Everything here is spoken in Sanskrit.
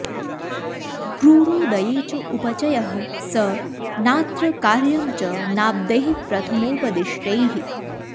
क्रूरोदये च उपचयः स नात्र कार्यं च नाब्दैः प्रथमोपदिष्टैः